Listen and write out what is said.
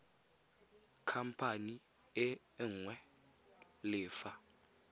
khamphane e nngwe le fa